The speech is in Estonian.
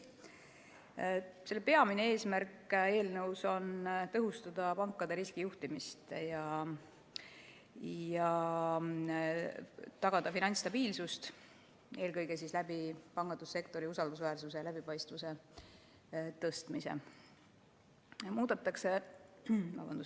Eelnõu peamine eesmärk on tõhustada pankade riskijuhtimist ja tagada finantsstabiilsus, eelkõige pangandussektori usaldusväärsuse ja läbipaistvuse suurendamise kaudu.